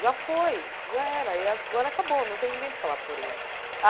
Já foi, já era, e agora acabou, não tem ninguém para falar por ele.